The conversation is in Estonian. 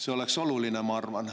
See oleks oluline, ma arvan.